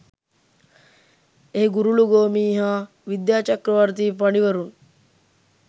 එහි ගුරුළුගෝමි හා විද්‍යාචක්‍රවර්තී පඬිවරුන්